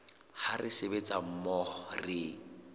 ha re sebetsa mmoho re